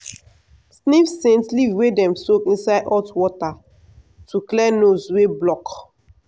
sniff scent leaf wey dem soak inside hot water to clear nose wey block.